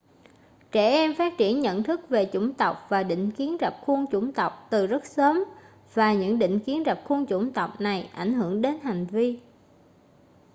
trẻ em phát triển nhận thức về chủng tộc và định kiến rập khuôn chủng tộc từ rất sớm và những định kiến rập khuôn chủng tộc này ảnh hưởng đến hành vi